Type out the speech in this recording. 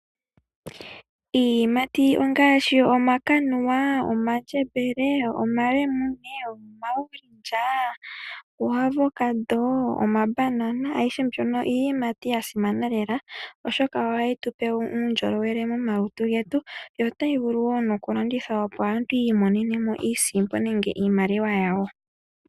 Iiyimati ongaashi omakanuwa, omandjembele, omalemune, omaorange, uu avocado, omabanana ayihe mbyono iiyimati ya simana lela, oshoka ohayi tupe wo uundjolowele momalutu getu, yo otayi vulu wo noku landithwa opo aantu yiimonenemo iisimpo nenge iimaliwa yawo.